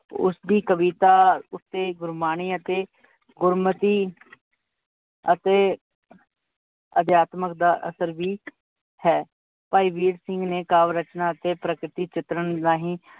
ਉਸਦੀ ਦੀ ਕਵਿਤਾ ਉੱਤੇ ਗੁਰਵਾਣੀ ਅਤੇ ਗੁਰਮਤੀ ਅਤੇ ਅਧਿਆਤਮਕ ਦਾ ਅਸਰ ਵੀ ਹੈ। ਭਾਈ ਵੀਰ ਸਿੰਘ ਨੇ ਕਾਵ ਰਚਨਾਂ ਅਤੇ ਪ੍ਰਕਿਤੀ ਚਿਤਰਨ ਰਾਹੀਂ